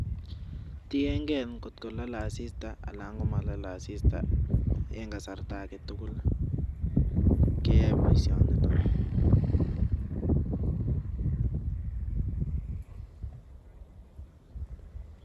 Tieng'ei ngotko lalei asista anan komalalei asista eng kasarta age tugul keyoe boisionito.